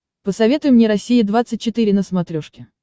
посоветуй мне россия двадцать четыре на смотрешке